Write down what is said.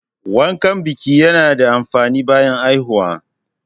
Wankan biƙi ya na da amfani bayan haihuwa